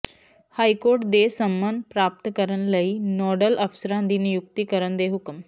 high court ਦੇ ਸੰਮਣ ਪ੍ਰਾਪਤ ਕਰਨ ਲਈ ਨੋਡਲ ਅਫ਼ਸਰਾਂ ਦੀ ਨਿਯੁਕਤੀ ਕਰਨ ਦੇ ਹੁਕਮ